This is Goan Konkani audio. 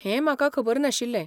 हें म्हाका खबर नाशिल्लें.